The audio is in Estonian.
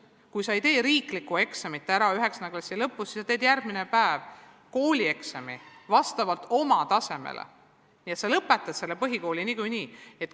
Kui sa 9. klassi lõpus riiklikku eksamit ära ei tee, siis teed sa järgmisel päeval vastavalt oma tasemele koolieksami, nii et sa lõpetad põhikooli niikuinii.